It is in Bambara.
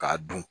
K'a dun